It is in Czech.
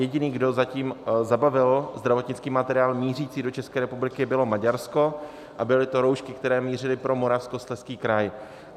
Jediný, kdo zatím zabavil zdravotnický materiál mířící do České republiky, bylo Maďarsko a byly to roušky, které mířily pro Moravskoslezský kraj.